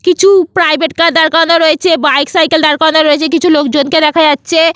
কিছু private car দাঁড় করানো রয়েছে বাইক সাইকেল দাঁড় করানো রয়েছে কিছু লোকজনকে দেখা যাচ্ছে।